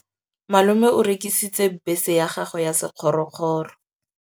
Malome o rekisitse bese ya gagwe ya sekgorokgoro.